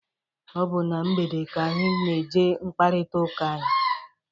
Ọ bụ na mgbede ka anyị na-eji akparịta ụka.